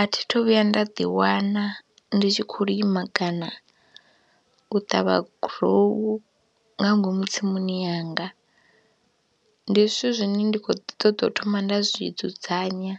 A thi thu vhuya nda ḓiwana ndi tshi khou lima kana u ṱavha gurowu nga ngomu tsimuni yanga, ndi zwithu zwine nda khouḓi ṱoḓa u thoma nda zwi dzudzanya,